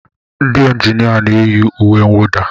Ndị injinia na-eyi uwe mwụda.